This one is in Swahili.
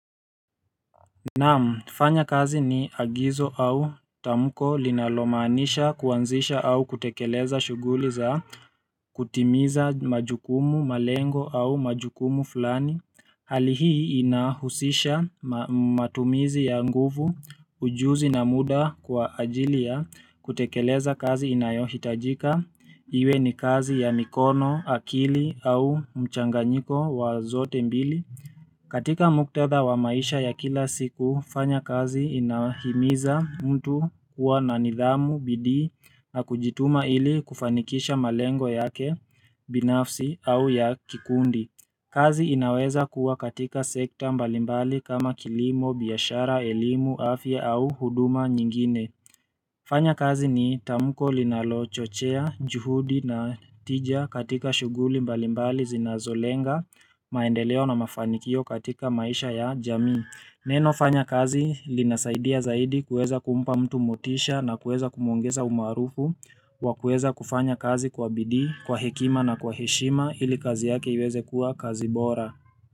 Naamu, kufanya kazi ni agizo au tamko linalomaanisha kuanzisha au kutekeleza shughuli za kutimiza majukumu, malengo au majukumu fulani Hali hii inahusisha matumizi ya nguvu, ujuzi na muda kwa ajili ya kutekeleza kazi inayohitajika Iwe ni kazi ya mikono akili au mchanganyiko wa zote mbili katika muktadha wa maisha ya kila siku, fanya kazi inahimiza mtu kuwa na nidhamu, bidii, na kujituma ili kufanikisha malengo yake, binafsi, au ya kikundi. Kazi inaweza kuwa katika sekta mbalimbali kama kilimo, biashara, elimu, afya au huduma nyingine. Fanya kazi ni tamko linalochochea, juhudi na tija katika shuguli mbalimbali zinazolenga maendeleo na mafanikio katika maisha ya jamii. Neno fanya kazi linasaidia zaidi kuweza kumpa mtu motisha na kuweza kumwongeza umarufu wa kwueza kufanya kazi kwa bidii, kwa hekima na kwa heshima ili kazi yake iweze kuwa kazi bora.